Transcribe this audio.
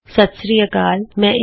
ਸਤ ਸ੍ਰੀ ਅਕਾਲ ਅਤੇ ਤੁਹਾਡਾ ਸਵਾਗਤ ਹੈ